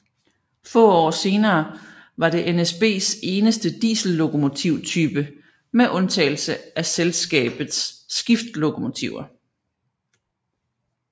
Få år senere var det NSBs eneste diesellokomotype med undtagelse af selskabets skiftlokomotiver